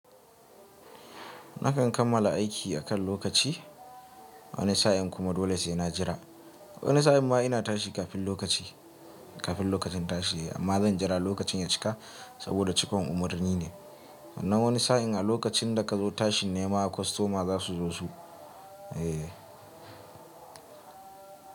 Nakan kammala aiki akan lokaci, wani sa'in kuma dole sai na jira. Wani sa'in ma ina tashi kafin lokaci, kafin lokacin tashi. Amma zan jira lokacin ya cika saboda cikon umarni ne. Nan wani sa'in a lokacin da ka zo tashin nema kostoma za su zo su. Eh.